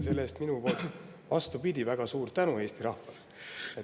Selle eest minu poolt väga suur tänu Eesti rahvale.